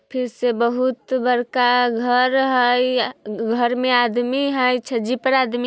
फिर से बहुत बड़का घर है घर में आदमी है छज्जे पे आदमी --